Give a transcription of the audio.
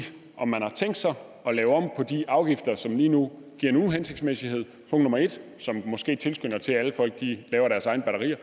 om man har tænkt sig at lave om på de afgifter som lige nu giver en uhensigtsmæssighed og som måske tilskynder til at folk laver deres egne batterier